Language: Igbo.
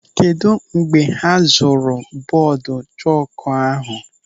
Kedụ mgbe ha zụrụ bọọdụ chọkụ ahụ?